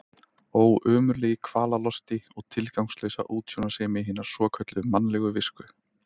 Ó, ömurlegi kvalalosti og tilgangslausa útsjónarsemi hinnar svokölluðu mannlegu visku.